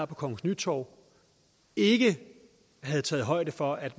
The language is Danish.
på kongens nytorv ikke havde taget højde for at